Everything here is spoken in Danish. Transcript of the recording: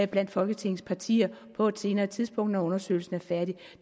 blandt folketingets partier på et senere tidspunkt når undersøgelsen er færdig og